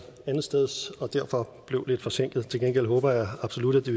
andetsteds og derfor blev lidt forsinket til gengæld håber jeg absolut at det